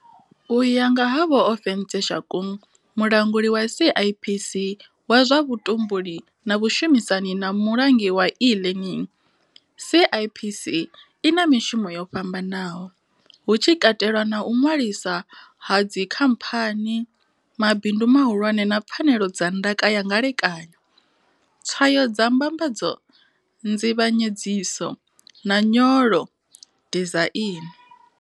U ya nga ha vho Ofentse Shakung, mulanguli wa CIPC wa zwa vhu tumbuli na vhushumisani na mulangi wa E learning, CIPC i na mishumo yo fhambanaho, hu tshi katelwa na u ṅwalisa ha dzi khamphani, mabindu mahulwane na pfanelo dza ndaka ya ngelekanyo tswayo dza mbambadzo, nzivhanyedziso, na nyolo dizaini.